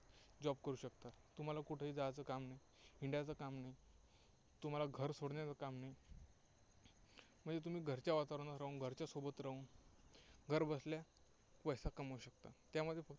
job करू शकता. तुम्हाला कुठेही जायचं काम नाही, हिंडायचं काम नाही. तुम्हाला घर सोडण्याचं काम नाही. म्हणजे तुम्ही घरच्या वातावरणात राहून, घरच्यांसोबत राहून, घर बसल्या पैसा कमवू शकता. त्यामध्ये